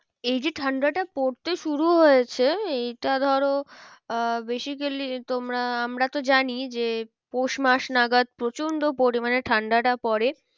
এই যে ঠান্ডাটা পড়তে শুরু হয়েছে এইটা ধরো আহ basically তোমরা আমরা তো জানি যে পৌষ মাস নাগত প্রচন্ড পরিমানে ঠান্ডাটা পরে।